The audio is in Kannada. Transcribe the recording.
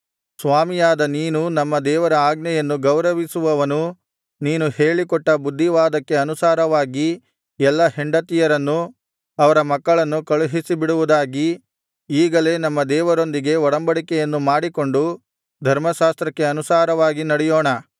ಸ್ವಾಮಿಯಾದ ನೀನೂ ನಮ್ಮ ದೇವರ ಆಜ್ಞೆಯನ್ನು ಗೌರವಿಸುವವನೂ ನೀನು ಹೇಳಿಕೊಟ್ಟ ಬುದ್ಧಿವಾದಕ್ಕೆ ಅನುಸಾರವಾಗಿ ಎಲ್ಲಾ ಹೆಂಡತಿಯರನ್ನೂ ಅವರ ಮಕ್ಕಳನ್ನೂ ಕಳುಹಿಸಿಬಿಡುವುದಾಗಿ ಈಗಲೇ ನಮ್ಮ ದೇವರೊಂದಿಗೆ ಒಡಂಬಡಿಕೆಯನ್ನು ಮಾಡಿಕೊಂಡು ಧರ್ಮಶಾಸ್ತ್ರಕ್ಕೆ ಅನುಸಾರವಾಗಿ ನಡೆಯೋಣ